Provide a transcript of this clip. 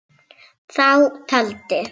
Þá taldi